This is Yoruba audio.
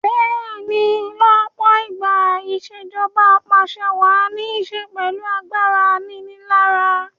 Bẹ́ẹ̀ni lọ́pọ̀ ìgbà ìṣèjoba Ap'àṣẹwàá ní ṣe pẹ̀lú agbára aninilára